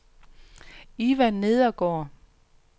Ivan Nedergaard